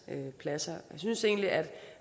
pladser jeg synes egentlig at